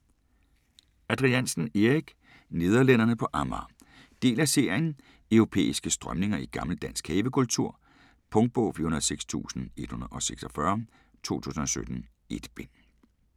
Adriansen, Erik: Nederlænderne på Amager Del af serien Europæiske strømninger i gammel dansk havekultur. Punktbog 406146 2017. 1 bind.